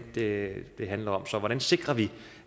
det det handler om så hvordan sikrer vi